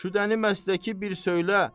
Şüdəni məstəki bir söylə.